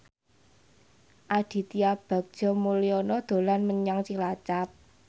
Aditya Bagja Mulyana dolan menyang Cilacap